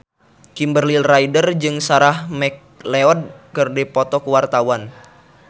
Kimberly Ryder jeung Sarah McLeod keur dipoto ku wartawan